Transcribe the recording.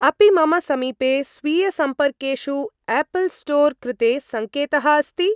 अपि मम समीपे स्वीयसम्पर्केषु एपल् स्टोर् कृते संकेतः अस्ति?